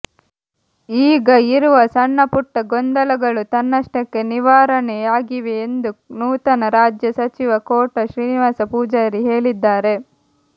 ಈಗ ಇರುವ ಸಣ್ಣ ಪುಟ್ಟ ಗೊಂದಲಗಳು ತನ್ನಷ್ಟಕ್ಕೆ ನಿವಾರಣೆಯಾಗಿವೆ ಎಂದು ನೂತನ ರಾಜ್ಯ ಸಚಿವ ಕೋಟ ಶ್ರೀನಿವಾಸ ಪೂಜಾರಿ ಹೇಳಿದ್ದಾರೆ